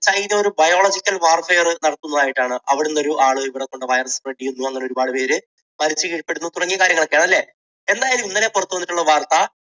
China ഒരു biological warfare നടത്തുന്നതായിട്ടാണ്. അവിടുന്ന് ഒരാൾ ഇവിടെ കൊണ്ട് virus spread ചെയ്യുന്നു. അങ്ങനെ ഒരുപാട് പേര് virus ന് കീഴ്പ്പെടുന്നു തുടങ്ങിയ കാര്യങ്ങൾ ഒക്കെയാണ് അല്ലേ? എന്തായാലും ഇന്നലെ പുറത്തുവന്നിട്ടുള്ള വാർത്ത